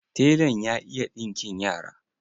Telan ya iya ɗinkin yara.